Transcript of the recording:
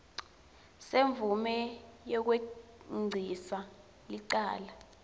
semvume yekwengcisa licala